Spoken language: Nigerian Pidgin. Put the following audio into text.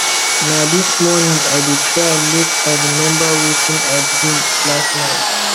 na dis morning i dey try make i remember wetin i dream last night